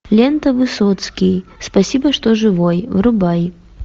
лента высоцкий спасибо что живой врубай